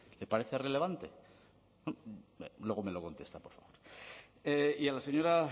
le parece relevante luego me lo contesta por favor y a la señora